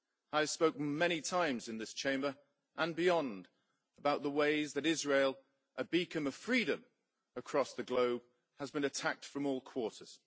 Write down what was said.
I have spoken many times, in this Chamber and beyond, about the ways that Israel, a beacon of freedom across the globe, has been attacked from all quarters.